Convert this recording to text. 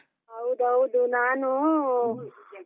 ಹೌದೌದು, ನಾನು .